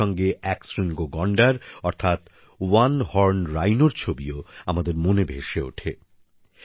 তার সঙ্গে একশৃঙ্গ গন্ডার অর্থাৎ ওয়ান হর্ন রাইনোর ছবিও আমাদের মনে ভেসে ওঠে